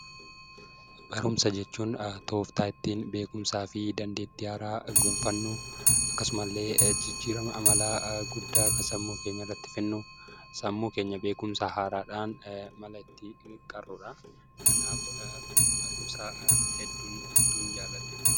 Barumsa jechuun tooftaa ittiin beekumsaa fi dandeettii haaraa gonfannu, akkasumallee jijjiirama amalaa guddaa kan sammuu keenya irratti fidnu, sammuu keenya beekumsa haaraadhaan mala ittiin qarru dha. Kanaaf barumsa hedduu hedduun jaalladha!